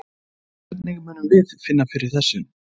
Hvernig munum við finna fyrir þessu?